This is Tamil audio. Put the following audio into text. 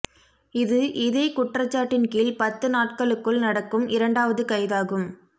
இது இதே குற்றச்சாட்டின் கீழ் பத்து நாட்களுக்குள் நடக்கும் இரண்டாவது கைதாகும்